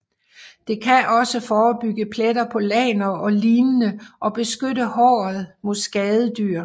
Det kan også forebygge pletter på lagner og lignende og beskytte håret mod skadedyr